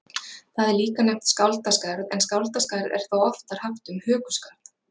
Það er líka nefnt skáldaskarð en skáldaskarð er þó oftar haft um hökuskarð.